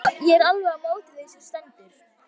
Ég er alveg á móti því sem stendur.